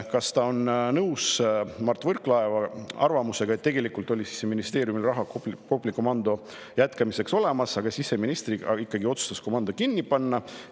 Kas ta on nõus Mart Võrklaeva arvamusega, et tegelikult oli Siseministeeriumil raha Kopli komando jätkamiseks olemas, aga siseminister ikkagi otsustas komando kinni panna?